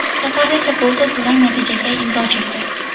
Safarda esa golsiz durang natijaga imzo chekdi.